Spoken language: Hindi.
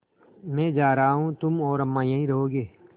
मैं जा रहा हूँ तुम और अम्मा यहीं रहोगे